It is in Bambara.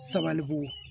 Sabalibugu